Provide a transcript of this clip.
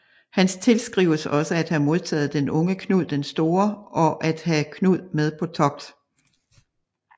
Han tilskrives også at have modtaget den unge Knud den Store og at have Knud med på togt